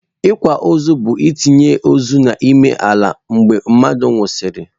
Akwamaọzụ bu-itinye ozu n'ime ala mgbe mmadu nwụsịrị.